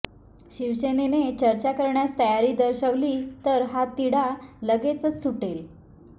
शिवसेनेने चर्चा करण्यास तयारी दर्शवली तर हा तिढा लगेचच सुटेल